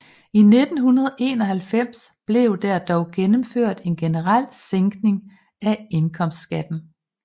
I 1991 blev der dog gennemført en generel sænkning af indkomstskatten